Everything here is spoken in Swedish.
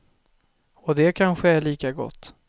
Och det kanske är lika gott.